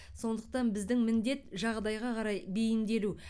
сондықтан біздің міндет жағдайға қарай бейімделу